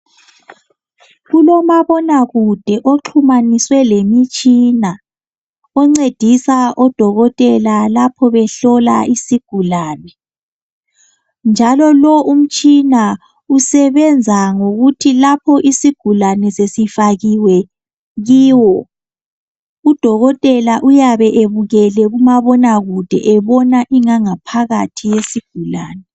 kulomabona kude oxhumaniswe lemitshina oncedisa odokotela lapho behlola isigulane njalo lo umtshina usebenza ngokuthi lapho isigulane sesifakiwe kiyo udokotela uyabe ebukele kumabona kude ebona ingaphakathi yesigulane.